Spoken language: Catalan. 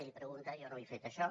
li ho pregunta jo no ho he fet això